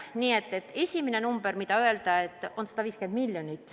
Nii et üks number, mille saab öelda, on 150 miljonit.